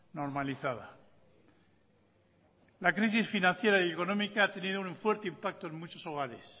normalizada la crisis financiera y económica ha tenido un fuerte impacto en muchos hogares